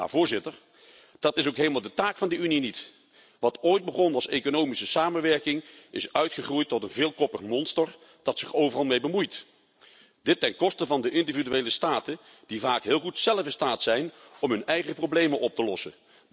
Maar dat is ook helemaal de taak van de Unie niet! Wat ooit begon als economische samenwerking is uitgegroeid tot een veelkoppig monster dat zich overal mee bemoeit, dit ten koste van de individuele staten die vaak heel goed zelf in staat zijn om hun eigen problemen op te lossen.